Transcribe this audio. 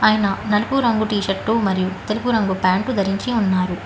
ఆయనా నలుపూ రంగు టీషీర్ట్ మరియు తెలుపు రంగు ప్యాంటు ధరించి ఉన్నారు.